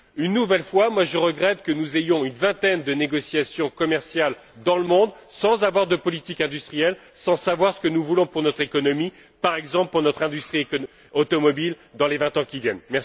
Une nouvelle fois, je regrette que nous ayons une vingtaine de négociations commerciales dans le monde sans avoir de politique industrielle, sans savoir ce que nous voulons pour notre économie, par exemple, pour notre industrie automobile dans les vingt ans qui viennent.